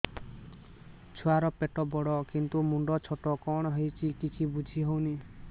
ଛୁଆର ପେଟବଡ଼ କିନ୍ତୁ ମୁଣ୍ଡ ଛୋଟ କଣ ହଉଚି କିଛି ଵୁଝିହୋଉନି